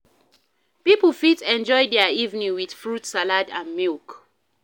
pipo fit enjoy their evening with fruit salad and milk